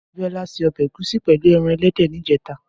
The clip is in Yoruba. Abiola sé òbè égúsì pèlú èràn èlèdè nijètá